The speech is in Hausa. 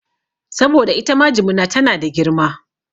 Saboda itama jimina tana da girma